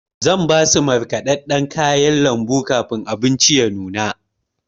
Zan basu markaɗaɗɗan kayan lambu kafin abinci ya nuna.